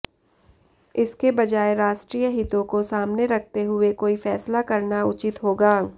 इसके बजाय राष्ट्रीय हितों कोे सामने रखते हुए कोई फैसला करना उचित होगा